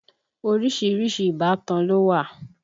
Orísìírísìí ìbátan ló wà